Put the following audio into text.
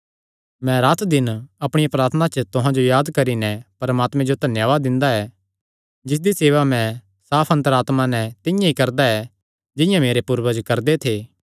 मैं रातदिन अपणिया प्रार्थना च तुहां जो याद करी नैं परमात्मे जो धन्यावाद दिंदा ऐ जिसदी सेवा मैं साफ अन्तर आत्मा नैं तिंआं ई करदा ऐ जिंआं मेरे पूर्वज करदे थे